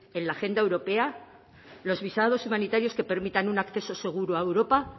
en la agenda europea los visados humanitarios que permitan un acceso seguro a europa